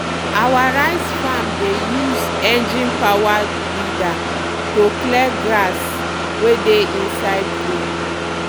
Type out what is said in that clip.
our rice farm dey use engine-powered weeder to clear grass we dey inside row.